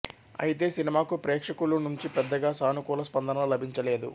అయితే సినిమాకు ప్రేక్షకుల నుంచి పెద్దగా సానుకూల స్పందన లభించలేదు